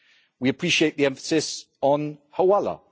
We appreciate the emphasis on hawala.